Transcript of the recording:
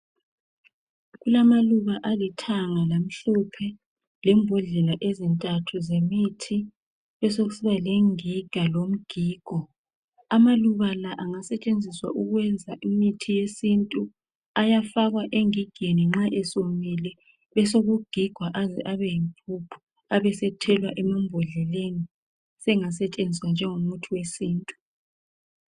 Kulama luba alithanga lamhlophe lembodlela ezintathu zemithi. Kube sokusiba lengiga lomgigo, amaluba la angasetshenziswa ukwenza imithi yesintu. Ayafakwa engigeni nxa esewomile kube sokugigwa aze abe yimpuphu abe sethelwa emambodleni sengasetshenziswa njengo muthi wesintu.